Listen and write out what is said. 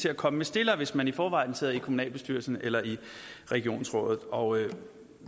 at komme med stillere hvis man i forvejen sidder i kommunalbestyrelsen eller i regionsrådet og